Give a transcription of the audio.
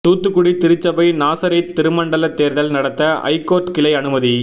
தூத்துக்குடி திருச்சபை நாசரேத் திருமண்டல தேர்தல் நடத்த ஐகோர்ட் கிளை அனுமதி